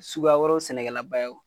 Suguya wɛrɛw sɛnɛkɛla ba ye